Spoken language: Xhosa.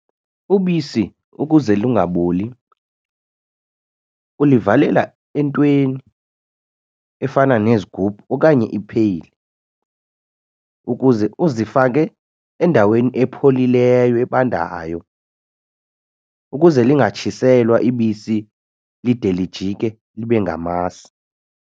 Ubisi ukuze lungaboli ulivalela entweni efana nezigubhu okanye ipheyile ukuze uzifake endaweni epholileyo, ebandayo ukuze lingatshiselwa ibisi lide lijike libe ngamasi.